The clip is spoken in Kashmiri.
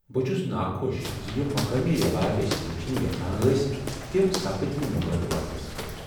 بہٕ چھُس ناخوش ز یم مقٲمی رِواج أسۍ وُچھنہِ یژھان ٲسۍ تِم سپٕد نہٕ مُقررٕ وقتس پیٹھ ۔